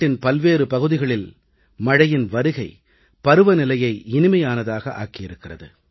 நாட்டின் பல்வேறு பகுதிகளில் மழையின் வருகை பருவநிலையை இனிமையானதாக ஆக்கியிருக்கிறது